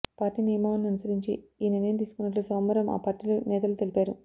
party నియమావళిని అనుసరించి ఈ నిర్ణయం తీసుకున్నట్లు సోమవారం ఆ పార్టీలు నేతలు తెలిపారు